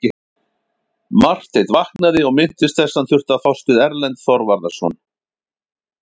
Marteinn vaknaði og minntist þess að hann þurfti að fást við Erlend Þorvarðarson.